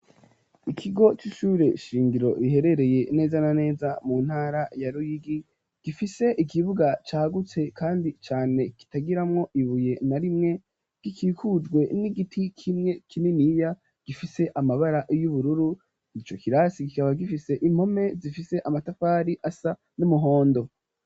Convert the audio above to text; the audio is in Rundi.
Ikigo c'ishure shingiro riherereye neza na neza mu ntara ya Ruyigi, gifise ikibuga cagutse kandi cane kitagiramwo ibuye na rimwe, gikikujwe n'igiti kimwe kininiya gifise amabara y'ubururu, ico kirasi kikaba gifise impome zifise amatafari asa n'umuhondo.